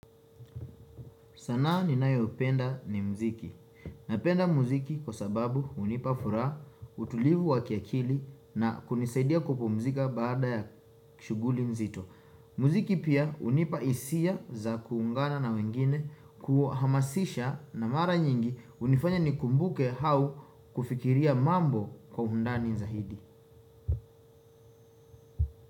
Sana ninayo upenda ni mziki. Napenda mziki kwa sababu hunipa furaha, utulivu wa kiakili na kunisaidia kupumzika baada ya shuguli nzito. Mziki pia unipa isia za kuungana na wengine, kuhamasisha na mara nyingi unifanya ni kumbuke hau kufikiria mambo kwa undani zahidi.